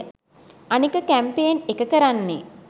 අනික කැම්පේන් එක කරන්නේ